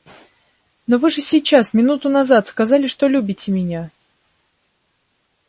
но вы же сейчас минуту назад сказали что любите меня